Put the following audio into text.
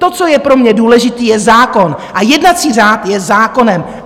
To, co je pro mě důležité, je zákon a jednací řád je zákonem.